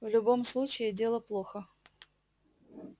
в любом случае дело плохо